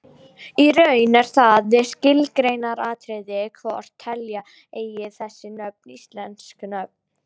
Í raun er það skilgreiningaratriði hvort telja eigi þessi nöfn íslensk nöfn.